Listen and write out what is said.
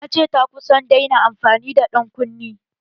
Ta ce ta kusa ta daina amfani da ƴan kunne.